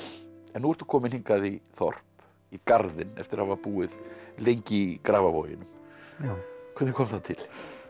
nú ertu kominn hingað í þorp í Garðinn eftir að hafa búið lengi í Grafarvoginum hvernig kom það til